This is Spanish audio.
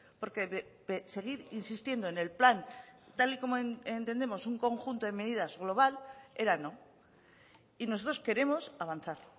porque seguir insistiendo en el plan tal y como entendemos un conjunto de medidas global era no y nosotros queremos avanzar